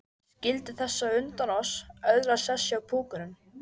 Skyldi þessi á undan oss öðlast sess hjá púkunum?